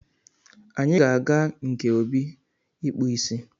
Anyị ga-aga nke Obi ịkpụ ịsị